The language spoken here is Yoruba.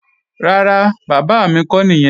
Rárá, bàbá mi kọ́ nìyẹn